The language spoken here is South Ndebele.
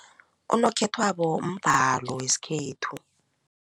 Unokhethwabo mbhalo wesikhethu.